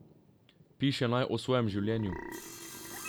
Piše naj o svojem življenju.